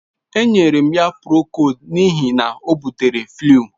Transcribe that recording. Enyere m ya Procold n'ihi na o butere flu.